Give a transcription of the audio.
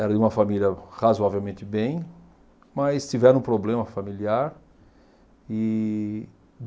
Era de uma família razoavelmente bem, mas tiveram um problema familiar e